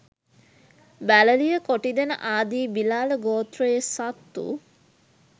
බැලළිය, කොටිදෙන ආදී බිලාළ ගෝත්‍රයේ සත්තු